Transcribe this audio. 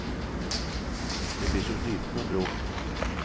Jeg blir så sliten av bråk.